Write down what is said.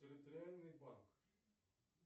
территориальный банк